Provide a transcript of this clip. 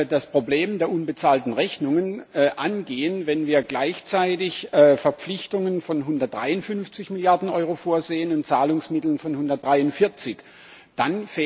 das Problem der unbezahlten Rechnungen angehen, wenn wir gleichzeitig Verpflichtungen von 153 Milliarden Euro vorsehen und Zahlungsmittel von 143 Milliarden Euro.